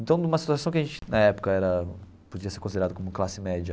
Então, numa situação que a gente, na época era, podia ser considerado como classe média,